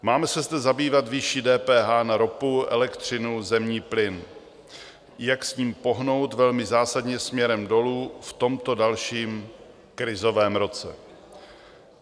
Máme se zde zabývat výší DPH na ropu, elektřinu, zemní plyn, jak s ní pohnout velmi zásadně směrem dolů v tomto dalším krizovém roce.